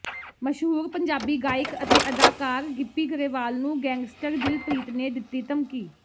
ਮਸ਼ਹੂਰ ਪੰਜਾਬੀ ਗਾਇਕ ਤੇ ਅਦਾਕਾਰ ਗਿੱਪੀ ਗਰੇਵਾਲ ਨੂੰ ਗੈਂਗਸਟਰ ਦਿਲਪ੍ਰੀਤ ਨੇ ਦਿੱਤੀ ਧਮਕੀ